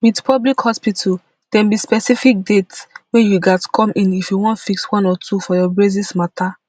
wit public hospital dem be specific dates wey you gatz come in if you wan fix one or two for your braces mata